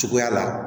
Cogoya la